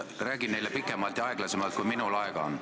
Räägi neile sellest pikemalt ja aeglasemalt, kui minul aega on.